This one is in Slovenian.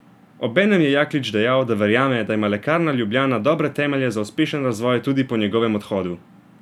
Obenem je Jaklič dejal, da verjame, da ima Lekarna Ljubljana dobre temelje za uspešen razvoj tudi po njegovem odhodu.